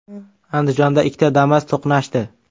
Andijonda ikkita Damas to‘qnashdi .